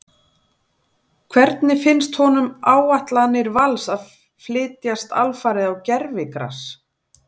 Hvernig finnst honum áætlanir Vals að flytjast alfarið á gervigras?